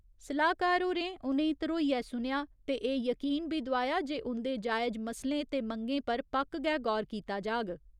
सलाह्‌कार होरें उ'नेंगी धरोइयै सुनेआ ते एह् यकीन बी दोआया जे उंदे जायज मसलें ते मंगें पर पक्क गै गौर कीता जाग।